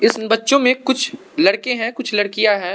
इन्स बच्चों में कुछ लड़के हैं कुछ लड़कियां हैं।